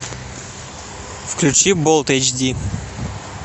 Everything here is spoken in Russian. включи болт эйч ди